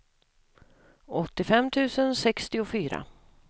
åttiofem tusen sextiofyra